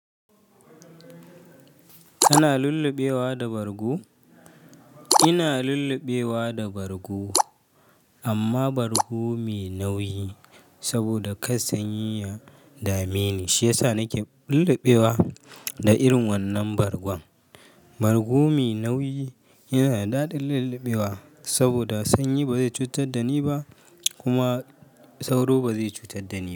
Kana lullubewa da bargo? Ina lullubewa da bargo, amma bargo mai nauyi saboda kassan yi ya dame ni, shi yasa nake lullubewa da irin wannan bargon. Bargo mai nauyi yana da daɗin lullubewa saboda sanyi bazai cutar da ni ba, kuma sauro bazai cutar da ni ba.